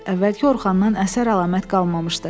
Əvvəlki Orxandan əsər-əlamət qalmamışdı.